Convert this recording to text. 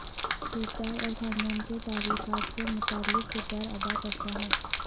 کردار اور خاندان کے تعلقات سے متعلق کردار ادا کرتا ہے